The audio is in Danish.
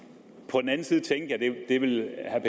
det ville herre